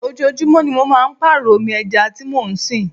Ojoojúmó ni mo máa ń pàrọ omi ẹja tí mo ń sìn.